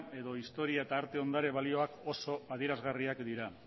edo historia eta arte ondare balioak oso adierazgarriak dira